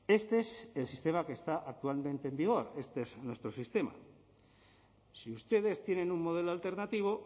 este es el sistema que está actualmente en vigor este es nuestro sistema si ustedes tienen un modelo alternativo